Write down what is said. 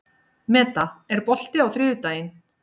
Meda, er bolti á þriðjudaginn?